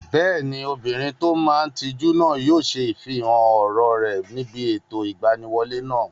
Bẹ́ẹ̀ni, obìnrin tó máa n tijú náà yóò ṣe ifihàn ọ̀rọ̀ rẹ̀ níbi ètò ìgbaniwọlé náà